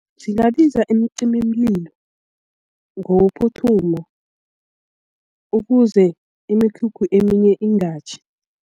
Singabasiza imicimimlilo ngokuphuthuma ukuze imikhukhu eminye ingatjhi.